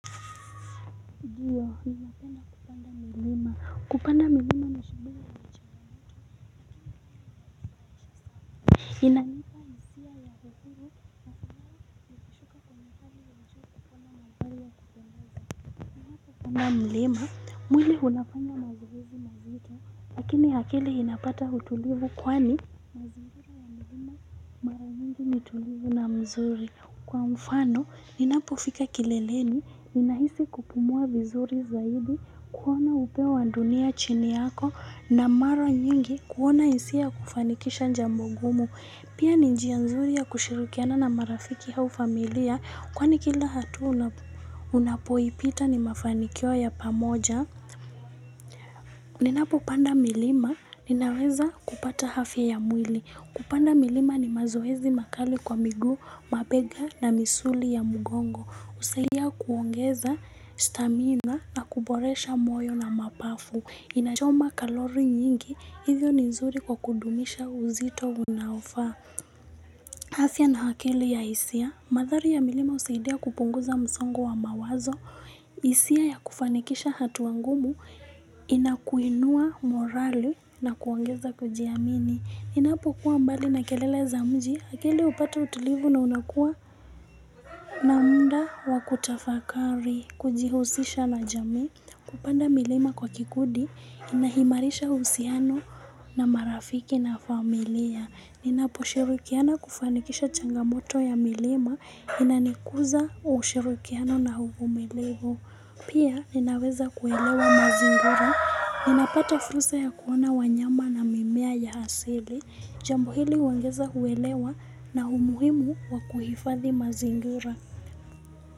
Kupanda milima ni shughuli nikipanda mlima, mwili unafanya mazoezi mazito, lakini akili inapata utulivu kwani mazingira ya mlima mara nyingi ni tulivu na mzuri. Kwa mfano ninapofika kileleni ninahisi kupumua vizuri zaidi kuona upeo wa dunia chini yako na mara nyingi kuona hisia ya kufanikisha jambo gumu. Pia ni njia nzuri ya kushirikiana na marafiki au familia kwani kila hatua unapoipita ni mafanikio ya pamoja. Ninapopanda milima, ninaweza kupata afya ya mwili. Kupanda milima ni mazoezi makali kwa miguu, mabega na misuli ya mgongo. Husaidia kuongeza stamina na kuboresha moyo na mapafu. Inachoma kalori nyingi, hizi ni nzuri kwa kudumisha uzito unaofaa. Afya na akili ya hisia. Madhari ya milima husaidia kupunguza msongo wa mawazo. Hisia ya kufanikisha hatua ngumu inakuinua morali na kuongeza kujiamini. Ninapo kuwa mbali na kelele za mji. Akili hupata utulivu na unakua na muda wa kutafakari. Kujihusisha na jamii. Kupanda milima kwa kikundi. Kuna imarisha uhusiano na marafiki na familia. Ninaposhirikiana kufanikisha changamoto ya milima inanikuza ushirikiano na uvumilivu. Pia ninaweza kuelewa mazingira, ninapata fursa ya kuona wanyama na mimea ya asili, jambo hili huongeza uelewa na umuhimu wa kuhifadhi mazingira.